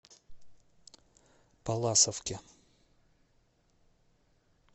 палласовке